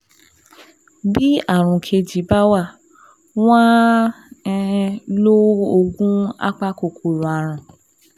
Bí ààrùn kejì bá wà, wọ́n á um lo oògùn apakòkòrò ààrùn